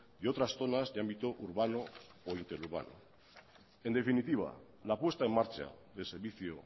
de otras zonas de ámbito urbano o interurbano en definitiva la puesta en marcha del servicio